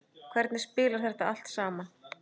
Hvernig spilar þetta allt saman?